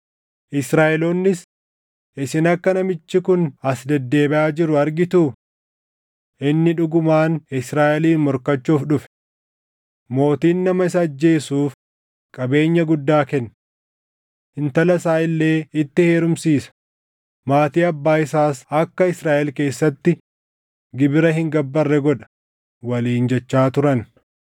Israaʼeloonnis, “Isin akka namichi kun as deddeebiʼaa jiru argituu? Inni dhugumaan Israaʼeliin morkachuuf dhufe. Mootiin nama isa ajjeesuuf qabeenya guddaa kenna. Intala isaa illee itti heerumsiisa; maatii abbaa isaas akka Israaʼel keessatti gibira hin gabbarre godha” waliin jechaa turan.